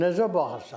Necə baxırsan?